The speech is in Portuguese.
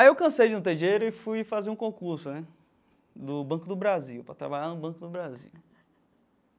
Aí eu cansei de não ter dinheiro e fui fazer um concurso, né, do Banco do Brasil, para trabalhar no Banco do Brasil.